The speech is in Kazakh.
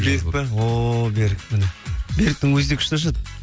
берік пе ооо берік міне беріктің өзі де күшті ашады